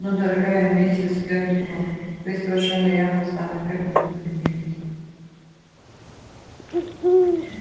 но дорогая миссис гамильтон вы совершенно явно сами к этому стремились